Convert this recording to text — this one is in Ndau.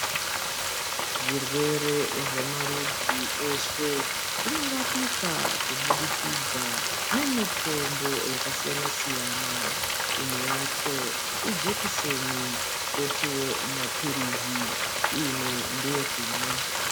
Zvirwere zvemarudzi eshe zvinorapika kubudikidza nemitombo yakasiyana siyana imwe yacho ijekiseni kotiwo mapilizi imwe ndeye kumwa.